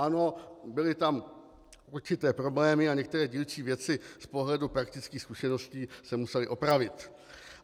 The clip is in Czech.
Ano, byly tam určité problémy a některé dílčí věci z pohledu praktických zkušeností se musely opravit.